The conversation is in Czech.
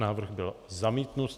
Návrh byl zamítnut.